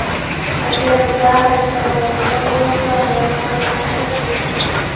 Agar Zaha kelmaydigan bo‘lsa, Rayan Freyzer-chi?